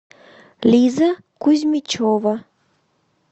лиза кузьмичева